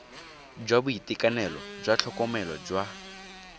jwa boitekanelo jwa tlhokomelo jwa